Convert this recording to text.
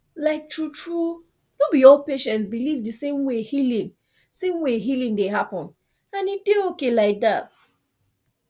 like truetrue no be all patients believe the same way healing same way healing dey happen and e dey okay like that